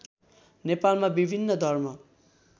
नेपालमा विभिन्न धर्म